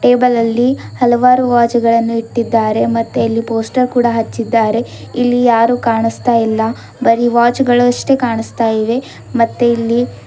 table ಅಲ್ಲಿ ಹಲವಾರು watch ಗಳನ್ನು ಇಟ್ಟಿದ್ದಾರೆ ಮತ್ತು ಅಲ್ಲಿ ಪೋಸ್ಟರ್ ಕೂಡ ಹಚ್ಚಿದ್ದಾರೆ ಇಲ್ಲಿ ಯಾರು ಕಾಣಸ್ತಾ ಇಲ್ಲ ಬರಿ ವಾಚ್ ಗಳಸ್ತೆ ಕಾಣಸ್ತಾಇವೆ ಮತ್ತೆ ಇಲ್ಲಿ --